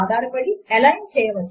enter ను రెండుసార్లు press చేయండి